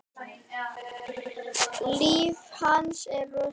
Líf hans er í rúst.